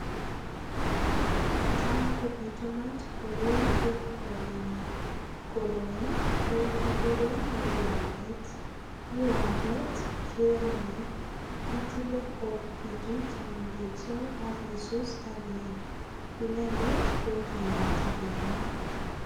Tam kopitunat koroi eng' korenyo koroi ko kikuren miwandet miwandet kwomei itile kopitu chemengechen akisus akiam inendet kokimiti kelek